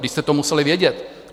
Vždyť jste to museli vědět.